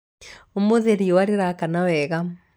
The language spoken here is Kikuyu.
ũmũthì rìũa rìrakana wega